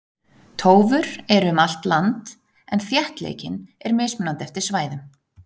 Tófur eru um allt land en þéttleikinn er mismunandi eftir svæðum.